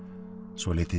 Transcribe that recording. svolítið